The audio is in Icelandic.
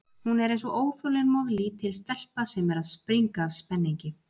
Hún er eins og óþolinmóð, lítil stelpa sem er að springa af spenningi.